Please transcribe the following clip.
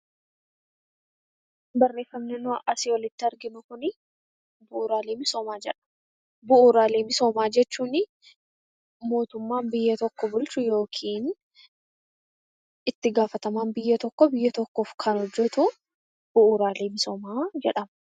Barreeffamni nuyi asii olitti arginu kuni bu'uuraalee misoomaa jedha. Bu'uuraalee misoomaa jechuun mootummaan biyya tokko bulchu yookiin itti gaafatamaan biyya tokkoo biyya tokkoof kan hojjetu bu'uuraalee misoomaa jedhama.